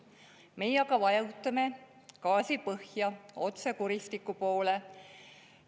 Meie aga vajutame gaasi põhja otse kuristiku poole.